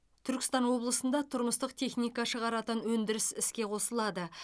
түркістан облысында тұрмыстық техника шығаратын өндіріс іске қосылады